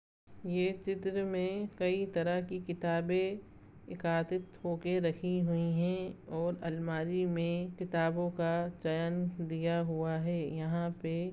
ये चित्र मे कई तरह की किताबें एकादित होके रखी हुई हैं और अलमारी मे किताबों का चयन दिया हुआ है यहाँ पे--